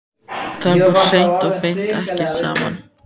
Það fór hreint og beint ekki saman.